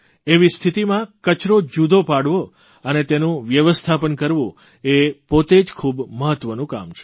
એવી સ્થિતિમાં કચરો જુદો પાડવો અને તેનું વ્યવસ્થાપન કરવું એ પોતે જ ખૂબ મહત્વનું કામ છે